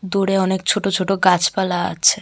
দূরে অনেক ছোট ছোট গাছপালা আছে।